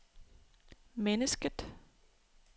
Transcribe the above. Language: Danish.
mennesket